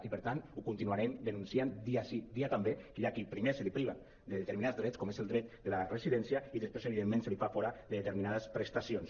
i per tant ho continuarem denunciant dia sí dia també que hi ha a qui primer se’l priva de determinats drets com és el dret de la residència i després evidentment se’l fa fora de determinades prestacions